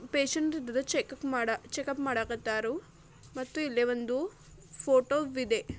Patient ಇದರ checkup ಮಾಡಕ್ ಕತ್ತರು ಮತ್ತು ಇಲ್ಲೇ ಒಂದು ಫೋಟೋವಿದೆ .